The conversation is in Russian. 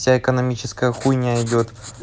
вся экономическая хуйня идёт